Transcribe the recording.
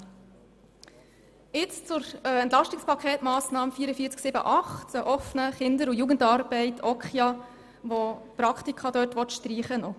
Nun zur EP-Massnahme 44.7.8, welche bei der OKJA Praktika streichen will.